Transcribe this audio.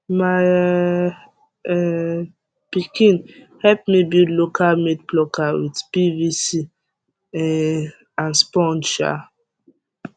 my um pikin help me build local made plucker with pvc um and sponge um